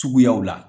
Suguyaw la